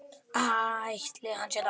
Ætli hann sé dáinn.